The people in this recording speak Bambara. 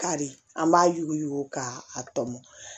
Kari an b'a yuguyugu ka tɔmɔ